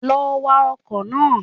Lọ wa ọkọ̀ náà